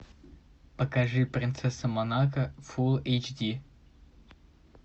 покажи принцесса монако фул эйч ди